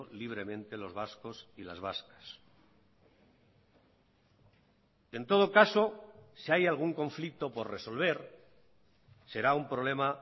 libremente los vascos y las vascas en todo caso si hay algún conflicto por resolver será un problema